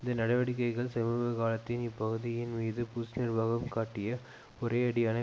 இந்த நடவடிக்கைகள் சமீப காலத்தில் இப்பகுதியின் மீது புஷ் நிர்வாகம் காட்டிய ஒரேயடியான